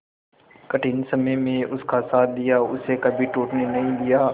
कठिन समय में उसका साथ दिया उसे कभी टूटने नहीं दिया